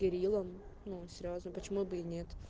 перелом ну сразу почему бы и нет